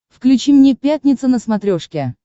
включи мне пятница на смотрешке